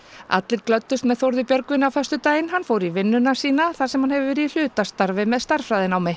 allir glöddust með Þórði Björgvini á föstudaginn hann fór í vinnuna sína þar sem hann hefur verið í hlutastarfi með stærðfræðinámi